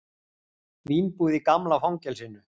Vínbúð í gamla fangelsinu